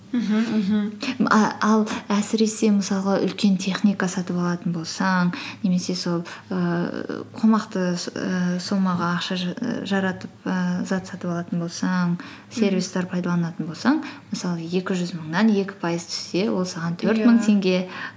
мхм мхм м ал әсіресе мысалға үлкен техника сатып алатын болсаң немесе сол ііі қомақты ііі суммаға ақша ііі жаратып ііі зат сатып алатын болсаң мхм сервистер пайдаланатын болсаң мысалы екі жүз мыңнан екі пайыз түссе ол саған төрт мың теңге